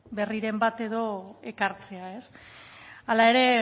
berriren bat ekartzea hala ere